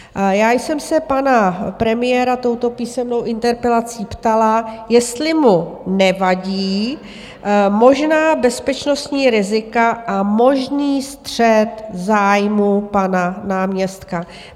Já jsem se pana premiéra touto písemnou interpelací ptala, jestli mu nevadí možná bezpečnostní rizika a možný střet zájmů pana náměstka.